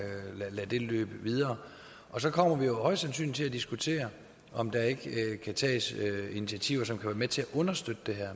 løbe videre og så kommer vi jo højst sandsynligt til at diskutere om der ikke kan tages initiativer som kan være med til at understøtte det